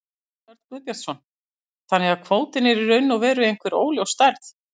Jón Örn Guðbjartsson: Þannig að kvótinn er í raun og veru einhver óljós stærð?